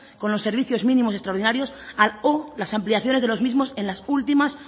con los servicios mínimos extraordinarios a o las ampliaciones de los mismos en las últimas